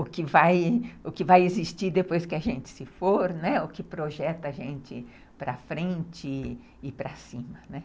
O que vai, o que vai existir depois que a gente se for, né, o que projeta a gente para frente e para cima.